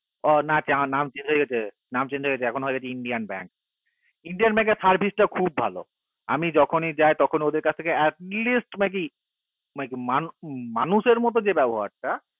ও না এখন নাম change হয়েগেছে নাম change হয়েগেছে এখন হয়েগেছে indian bank indian bank এর service টা খুবই ভালো আমি জাখনি যাই তখনি ওদের কাসথেকে atleast মানে কি মানুষের মতো যে ব্যাবহার টা